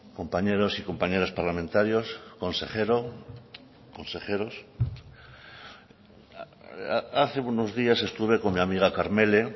compañeros y compañeras parlamentarios consejero consejeros hace unos días estuve con mi amiga karmele